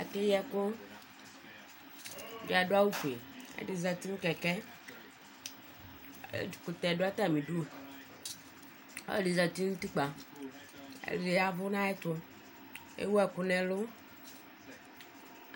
Akeyi ɛkʋ ɛdi adʋ awʋfue ɛdi zati nʋ kɛkɛ ɛkʋtɛ dʋ atami idʋ ɔlɔdi zati nʋ utikpa ɛdi ya ɛvʋ nʋ ayʋ ɛtʋ ewʋ ɛkʋ nʋ ɛlʋ